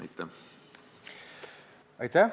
Aitäh!